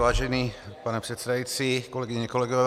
Vážený pane předsedající, kolegyně, kolegové.